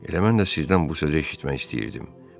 Elə mən də sizdən bu sözü eşitmək istəyirdim.